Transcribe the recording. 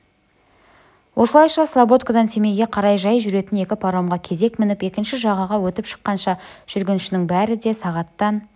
осылайша слободкадан семейге қарай жай жүретін екі паромға кезек мініп екінші жағаға өтіп шыққанша жүргіншінің бәрі де сағаттан